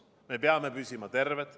Me peame püsima terved.